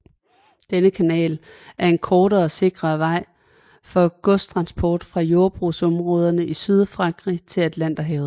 Denne kanal er en kortere og sikrere vej for godstransport fra jordbrugsområderne i Sydfrankrig til Atlanterhavet